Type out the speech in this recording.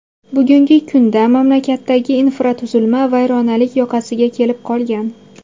Bugungi kunda mamlakatdagi infratuzilma vayronalik yoqasiga kelib qolgan.